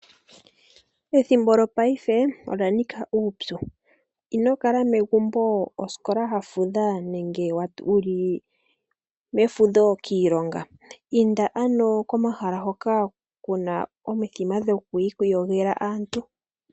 Ethimbo lyongaashingeyi olya nika uupyu ino kala megumbo osikola ya fudha nenge wu li mefudho kiilonga inda ano komahala hoka kuna omithima dhokwiiyogela aantu.